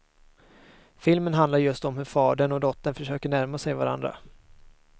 Filmen handlar just om hur fadern och dottern försöker närma sig varandra.